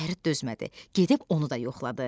Fərid dözmədi, gedib onu da yoxladı.